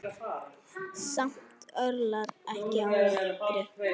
Samt örlar ekki á rökkri.